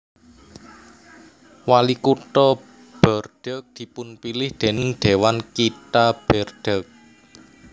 Walikutha Bordeaux dipunpilih déning Dhéwan Kitha Bordeaux